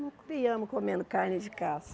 Não criamos comendo carne de caça.